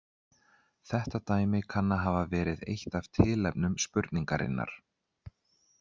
Þetta dæmi kann að hafa verið eitt af tilefnum spurningarinnar.